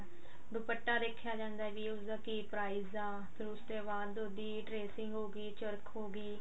ਦੁਪੱਟਾ ਦੇਖਿਆ ਜਾਂਦਾ ਵੀ ਉਸ ਦਾ ਕਿ price ਆ ਫਿਰ ਉਸ ਤੇ ਬਾਅਦ ਉਸਦੀ tracing ਹੋ ਗੀ ਚਰਖ ਹੋ ਗੀ